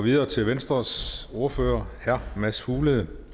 videre til venstres ordfører herre mads fuglede